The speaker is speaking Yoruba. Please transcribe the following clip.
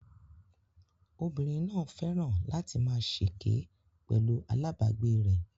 Obìnrin náà fẹ́ràn láti máa ṣèké pẹ̀lú alabagbe rẹ